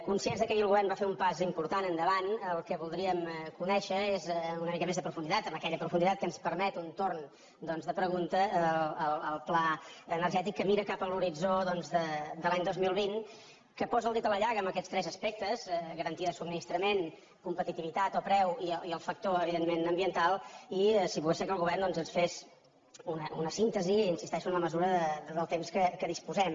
conscients que ahir el govern va fer un pas important endavant el que voldríem conèixer és amb una mica mes de profunditat amb aquella profunditat que ens permet un torn doncs de pregunta el pla energètic que mira cap a l’horitzó doncs de l’any dos mil vint que posa el dit a la llaga amb aquests tres aspectes garantia de subministrament competitivitat del preu i el factor evidentment ambiental i si pogués ser que el govern doncs ens fes una síntesi hi insisteixo en la mesura del temps que disposem